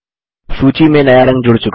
सूची में नया रंग जुड़ चुका है